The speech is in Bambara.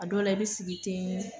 A dɔ la i bi sigi ten